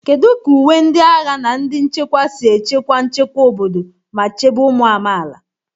Kedu ka uwe ndị agha na ndị nchekwa si echekwa nchekwa obodo ma chebe ụmụ amaala?